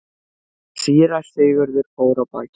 Síra Sigurður fór af baki.